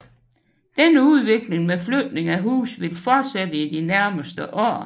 Denne udvikling med flytning af huse vil fortsætte i de nærmeste år